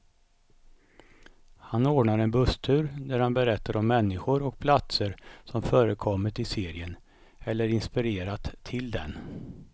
Han ordnar en busstur där han berättar om människor och platser som förekommit i serien, eller inspirerat till den.